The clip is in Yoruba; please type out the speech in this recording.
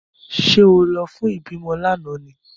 Ṣé ó lọ fún ìbímọ lánàá ni?